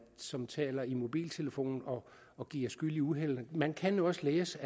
som taler i mobiltelefon og og bliver skyld i uheld man kan også læse